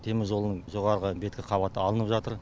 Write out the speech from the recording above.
теміржолдың жоғарғы беткі қабаты алынып жатыр